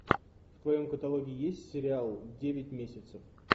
в твоем каталоге есть сериал девять месяцев